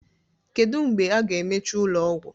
Kedu mgbe a ga-emechi ụlọ ọgwụ?